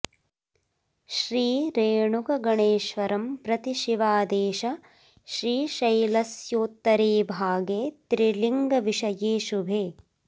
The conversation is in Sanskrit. श्री रेणुक गणेश्वरं प्रति शिवादेश श्रीशैलोस्योत्तरे भागे त्रिलिङ्गविषये शुभे